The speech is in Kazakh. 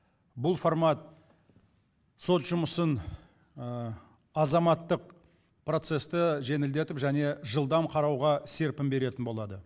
бұл формат сот жұмысын азаматтық процесті жеңілдетіп және жылдам қарауға серпін беретін болады